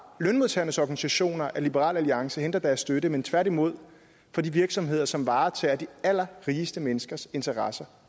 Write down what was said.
lønmodtagernes organisationer at liberal alliance henter deres støtte men tværtimod fra de virksomheder som varetager de allerrigeste menneskers interesser